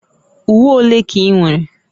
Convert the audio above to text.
Uwe ole ka ị nwere?